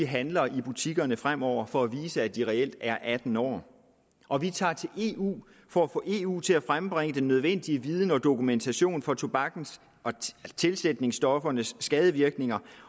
handler i butikkerne fremover for at vise at de reelt er atten år og vi tager til eu for at få eu til at frembringe den nødvendige viden og dokumentation for tobakkens og tilsætningsstoffernes skadevirkninger